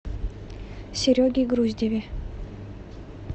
сереге груздеве